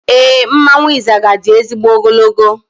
Éè, mmanwụ Izaga di ezigbo ogologo